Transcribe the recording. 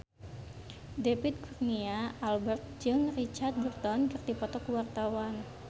David Kurnia Albert jeung Richard Burton keur dipoto ku wartawan